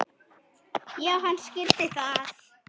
Já, hann skildi það.